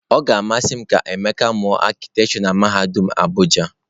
Ọ ga-amasị m ka Emeka mụọ arkitekture na mahadum Abuja.